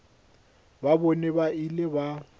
ba bona ba ile ba